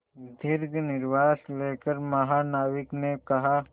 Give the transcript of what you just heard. दीर्घ निश्वास लेकर महानाविक ने कहा